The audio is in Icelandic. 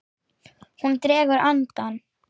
Hún dregur andann.